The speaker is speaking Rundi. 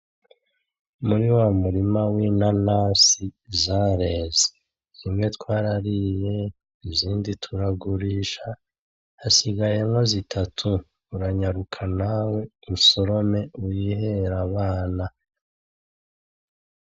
Muri wa murima w'inanasi zareze, zimwe twarariye, izindi turagurisha, hasigayemwo zitatu, uranyaruka nawe usorome wihere abana.